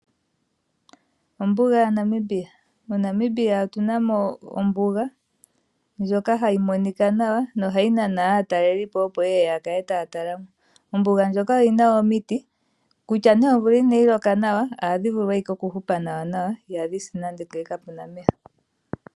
Ombuga yaNamibia: MoNamibia otu namo ombuga, ndjoka ha yi monika nawa noha yi nana aatalelipo yeye ya kale ta ya talamo. Ombuga ndjika oyina omiti, kutya omvula ina yi loka, oha dhivulu okuhupa nawa nawa, iha dhisi nande ngele kapena omeya.